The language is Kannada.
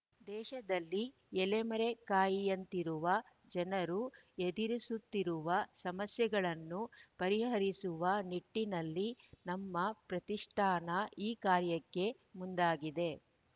ದೇಶದಲ್ಲಿ ಎಲೆಮರೆ ಕಾಯಿಯಂತಿರುವ ಜನರು ಎದಿರಿಸುತ್ತಿರುವ ಸಮಸ್ಯೆಗಳನ್ನು ಪರಿಹರಿಸುವ ನಿಟ್ಟಿನಲ್ಲಿ ನಮ್ಮ ಪ್ರತಿಷ್ಠಾನ ಈ ಕಾರ್ಯಕ್ಕೆ ಮುಂದಾಗಿದೆ